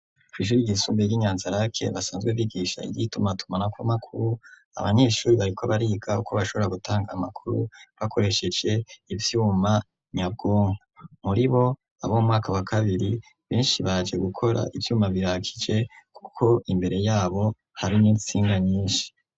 kw'ishure ryisumbuye ry'Inyanzarake basanzwe bigisha iry'itumatumanako amakuru, abanyeshure bariko bariga uko bashobora gutanga amakuru bakoresheje ivyuma nyabwonko. Muri bo abo mu mwaka wa kabiri benshi baje gukora ,ivyuma birakije, kuko imbere yabo harimwo intsinga nyinshi.